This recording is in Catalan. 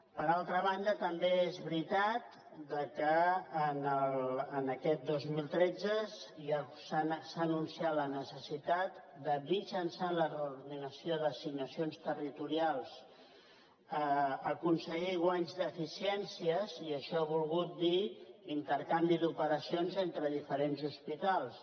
per altra banda també és veritat que en aquest dos mil tretze s’ha anunciat la necessitat de mitjançant la reordenació d’assignacions territorials aconseguir guanys d’eficiències i això ha volgut dir intercanvi d’operacions entre diferents hospitals